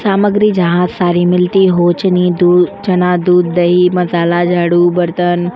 सामग्री जहाँ सारे मिलते हो चने चना दूध दही मसाला झाडु बर्तन --